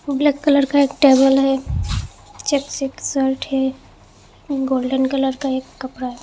Black colour का एक table है चेक सी एक सर्ट है गोल्डन कलर का एक कपरा है।